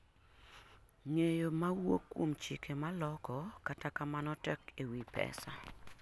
ng'eyo mawuok kuom chike maloko kata kamano tek ewi pesa